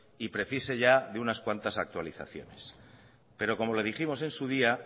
y precise ya de unas cuantas actualizaciones pero como le dijimos en su día